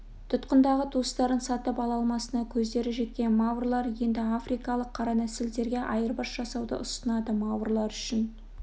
тұтқындағы туыстарын сатып ала алмасына көздері жеткен маврлар енді африкалық қара нәсілділерге айырбас жасауды ұсынады маврлар үшін